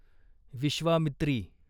Vishwamitri